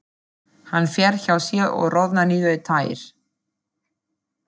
Hann fer hjá sér og roðnar niður í tær.